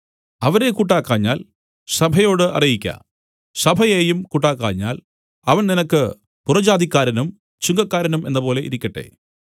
അവരെ കൂട്ടാക്കാഞ്ഞാൽ സഭയോട് അറിയിക്ക സഭയേയും കൂട്ടാക്കാഞ്ഞാൽ അവൻ നിനക്ക് പുറജാതിക്കാരനും ചുങ്കക്കാരനും എന്നപോലെ ഇരിക്കട്ടെ